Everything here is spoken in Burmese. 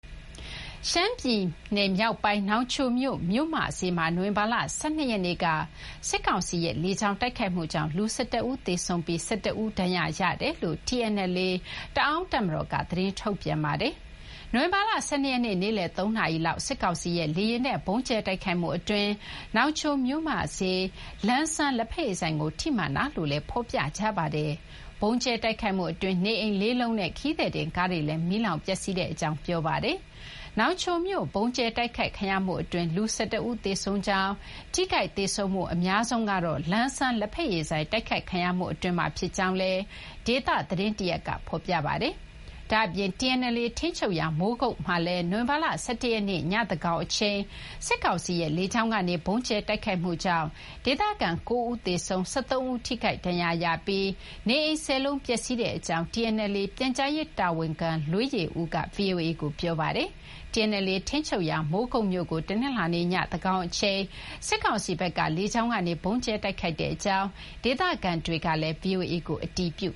ရှမ်းပြည်နယ် မြောက်ပိုင်း နောင်ချိုမြို့ မြို့မဈေးမှာ နိုဝင်ဘာလ ၁၂ ရက်နေ့က စစ်ကောင်စီရဲ့ လေကြောင်းတိုက်ခိုက်ကြောင့် လူ ၁၁ ဦး သေဆုံးပြီး ၁၁ ဦး ဒဏ်ရာရကြောင်း TNLA တအာင်းတပ်မတော်က သတင်းထုတ်ပြန်ပါတယ်။ နိုဝင်ဘာလ ၁၂ ရက်နေ့ နေ့လည် ၃ နာရီလောက် စစ်ကောင်စီရဲ့ လေယာဉ်နဲ့ ဗုံးကြဲ တိုက်ခိုက်မှု အတွင်း နောင်ချို မြို့မဈေး လန်းဆန်း လက်ဖက်ရည်ဆိုင်ကို ထိမှန်ခဲ့တာလို့လည်း ဖော်ပြပါတယ်။ ဗုံးကြဲ တိုက်ခိုက်မှု အတွင်း နေအိမ် ၄ လုံးနဲ့ ခရီးသည်တင် ကားတွေလည်း မီးလောင် ပျက်စီးကြောင်း ဖော်ပြပါတယ်။ နောင်ချိုမြို့ ဗုံးကြဲ တိုက်ခိုက်ခံရမှု အတွင်း လူ ၁၁ ဦး သေဆုံးကြောင်း၊ ထိခိုက် သေဆုံးမှု အများဆုံးကတော့ လန်းဆန်း လက်ဖက်ရည်ဆိုင် တိုက်ခိုက်ခံရမှု အတွင်းမှာ ဖြစ်ကြောင်းလည်း ဒေသ သတင်းတရပ်က ဖော်ပြပါတယ်။ ဒါ့အပြင် TNLA ထိန်းချုပ်ရာ မိုးကုတ်မြို့မှာလည်း နိုဝင်ဘာလ ၁၁ ရက်နေ့ ည သန်းခေါင်အချိန်မှာ စစ်ကောင်စီရဲ့ လေကြောင်းကနေ ဗုံးကြဲ တိုက်ခိုက်မှုကြောင့် ဒေသခံ ၉ ဦး သေဆုံးပြီး ၁၃ ဦး ထိခိုက်ဒဏ်ရာရခဲ့ပြီး နေအိမ် ၁၀ လုံး ပျက်စီးခဲ့ကြောင်း TNLA ပြန်ကြားရေး တာဝန်ခံ လွေးယေဦးက ဗွီအိုအေကို ပြောပါတယ်။ TNLA ထိန်းချုပ်ရာ မိုးကုတ်မြို့ကို တနင်္လာနေ့ ညသန်းခေါင် အချိန် စစ်ကောင်စီဘက်က လေကြောင်းကနေ ဗုံးကြဲ တိုက်ခိုက်တဲ့ အကြောင်း ဒေသခံတွေကလည်း ဗွီအိုအေကို အတည်ပြု